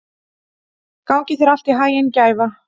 Gangi þér allt í haginn, Gæfa.